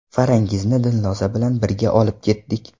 Farangizni Dilnoza bilan birga olib ketdik.